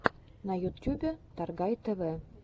на ютюбе торгай тв